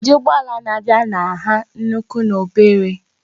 Ụdị ụgbọ ala na-abịa na nha nnukwu na obere